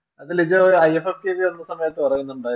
അത് Lijo i f f k ചെയ്തപ്പോൾ പറയുന്നുണ്ടായിരുന്നു.